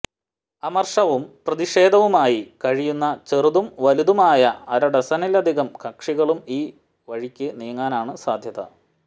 അമര്ഷവും പ്രതിഷേധവുമായി കഴിയുന്ന ചെറുതും വലുതുമായ അരഡസനിലധികം കക്ഷികളും ഈ വഴിക്ക് നീങ്ങാനാണ് സാധ്യത